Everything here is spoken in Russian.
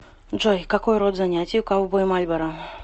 джой какой род занятий у ковбой мальборо